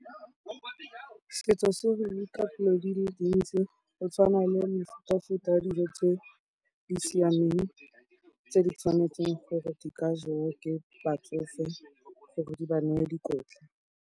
Setso se re ruta dilo di le dintsi, go tshwana le mefutafuta ya dijo tse di siameng tse di tshwanetseng gore di ka jewa ke batsofe gore di ba neye dikotla.